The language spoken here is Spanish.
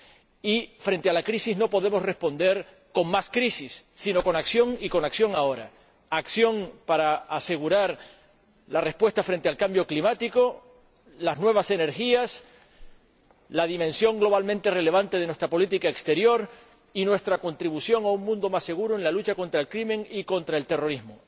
Y frente a la crisis no podemos responder con más crisis, sino con acción y con acción ahora acción para asegurar la respuesta frente al cambio climático, las nuevas energías, la dimensión globalmente relevante de nuestra política exterior y nuestra contribución a un mundo más seguro en la lucha contra el crimen y contra el terrorismo.